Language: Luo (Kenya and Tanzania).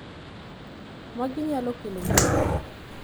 Magi nyalo kelo muofu